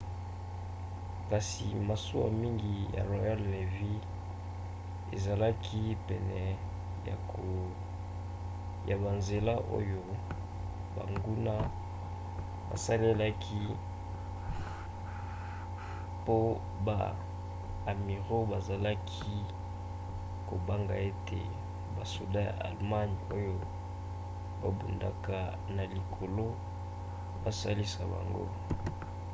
kasi masuwa mingi ya royal navy ezalaki pene ya banzela oyo banguna basalelaki po ba amiraux bazalaki kobanga ete basoda ya allemagne oyo babundaka na likolo basilisa bango